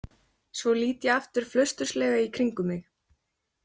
Svo lít ég aftur flausturslega í kringum mig.